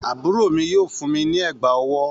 Àbúrò mi yóò fún mi ní ègbà ọwọ́.